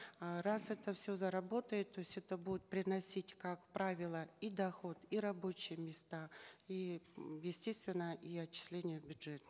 э раз это все заработает то есть это будет прниносить как правило и доход и рабочие места и м естественно и отчисления в бюджет